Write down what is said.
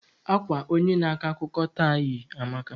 Akwa onye na ako akụkọ taa yi amaka.